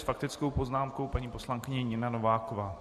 S faktickou poznámkou paní poslankyně Nina Nováková.